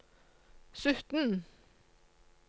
sytten